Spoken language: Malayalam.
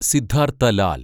സിദ്ധാർത്ഥ ലാൽ